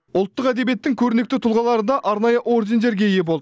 ұлттық әдебиеттің көрнекті тұлғалары да арнайы ордендерге ие болды